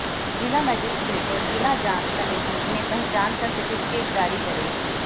जिला मजिस्ट्रेट और जिला जांच कमेटी इन्हें पहचान का सर्टिफिकेट जारी करेगी